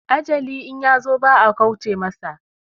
Ajali in yazo ba a kauce masa